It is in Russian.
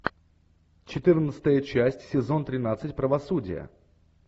четырнадцатая часть сезон тринадцать правосудие